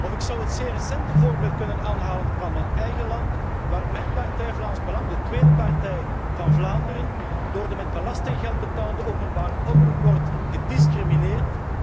Of ik zou het zeer recente voorbeeld kunnen aanhalen van mijn eigen land, waar mijn partij Vlaams Belang, de tweede partij van Vlaanderen, door de met belastinggeld betaalde openbare omroep wordt gediscrimineerd.